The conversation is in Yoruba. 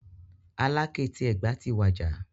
Aláké ti Ẹ̀gbá ti wàjà.